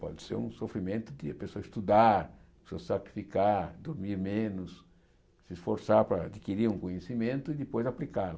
Pode ser um sofrimento que a pessoa estudar, se sacrificar, dormir menos, se esforçar para adquirir um conhecimento e depois aplicá-lo.